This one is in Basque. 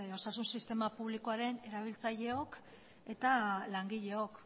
osasun sistema publikoaren erabiltzaileok eta langileok